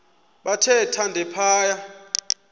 bathe thande phaya